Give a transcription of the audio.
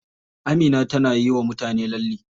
Amina tana yiwa mutane lalle.